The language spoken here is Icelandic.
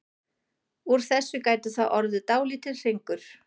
Úr þessu gæti þá orðið dálítill hringur.